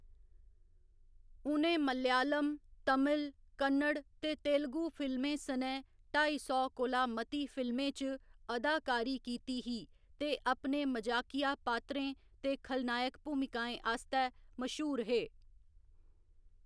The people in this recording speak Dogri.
उ'नें मलयालम, तमिल, कन्नड़ ते तेलुगू फिल्में सनै ढाई सौ कोला मती फिल्में च अदाकारी कीती ही ते अपने मजाकिया पात्रें ते खलनायक भूमिकाएं आस्तै मश्हूर हे।